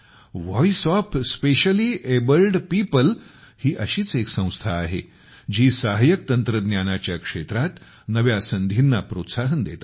voice of specially abled people ही अशीच एक संस्था आहे जी सहाय्यक तंत्रज्ञानाच्या क्षेत्रात नव्या संधींना प्रोत्साहन देत आहे